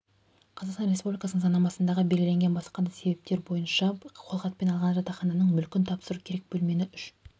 қазақстан республикасының заңнамасындағы белгіленген басқа да себептер бойынша қолхатпен алған жатақхананың мүлкін тапсыруы керек бөлмені үш